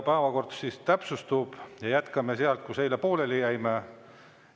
Päevakorra täpsustamine: jätkame sealt, kus eile pooleli jäime.